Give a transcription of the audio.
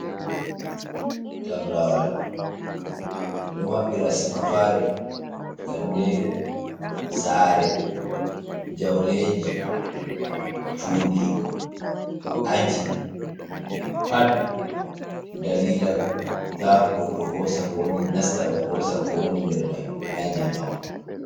Tabrawal ɗon maɓɓira suka fare, kanderu, sare, jauleji, cuɗi, aji, pat dalila ta goɗɗo hosa nasta hosa ko woni nder mai naje mako.